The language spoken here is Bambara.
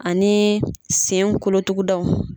Ani sen kolotugudaw.